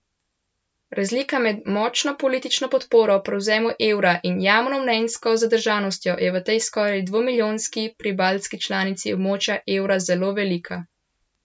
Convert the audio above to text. Razlika med močno politično podporo prevzemu evra in javnomnenjsko zadržanostjo je v tej skoraj dvomilijonski pribaltski članici območja evra zelo velika.